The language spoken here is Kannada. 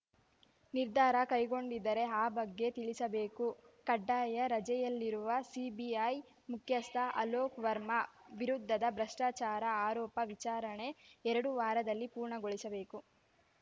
ನಿರ್ಧಾರ ಕೈಗೊಂಡಿದ್ದರೆ ಆ ಬಗ್ಗೆ ತಿಳಿಸಬೇಕು ಕಡ್ಡಾಯ ರಜೆಯಲ್ಲಿರುವ ಸಿಬಿಐ ಮುಖ್ಯಸ್ಥ ಅಲೋಕ್‌ ವರ್ಮಾ ವಿರುದ್ಧದ ಭ್ರಷ್ಟಾಚಾರ ಆರೋಪ ವಿಚಾರಣೆ ಎರಡು ವಾರದಲ್ಲಿ ಪೂರ್ಣಗೊಳಿಸಬೇಕು